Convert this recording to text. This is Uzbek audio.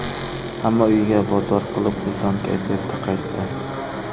Hamma uyiga bozor qilib, xursand kayfiyatda qaytdi.